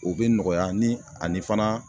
O bɛ nɔgɔya ni ani fana